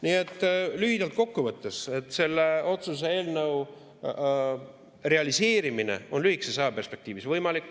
Nii et lühidalt kokku võttes selle otsuse eelnõu realiseerimine on lühikeses ajaperspektiivis võimalik.